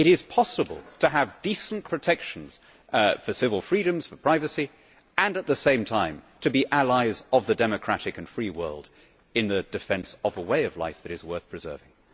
It is possible to have decent protection for civil freedoms, for privacy, and at the same time to be allies of the democratic and free world in the defence of a way of life that is worth preserving.